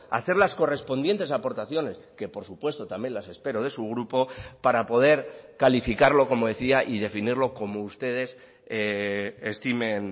a hacer las correspondientes aportaciones que por supuesto también las espero de su grupo para poder calificarlo como decía y definirlo como ustedes estimen